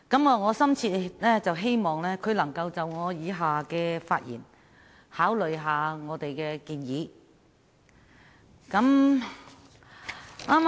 我深切希望他在聽畢我以下的發言後會考慮我們的建議。